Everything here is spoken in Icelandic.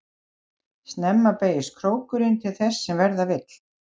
Snemma beygist krókurinn til þess sem verða vill.